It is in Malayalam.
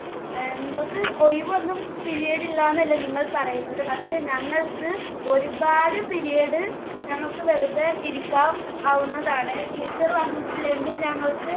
നിങ്ങൾക്ക് ഒഴിവൊന്നും period ഇല്ലാന്ന് അല്ലെ നിങ്ങൾ പറയുന്നത്. പക്ഷെ ഞങ്ങൾക്ക് ഒരുപാട് period ഞങ്ങൾക്ക് വെറുതെ ഇരിക്കാവുന്നതാണ്. teacher വന്നിട്ടില്ലെങ്കിൽ ഞങ്ങൾക്ക്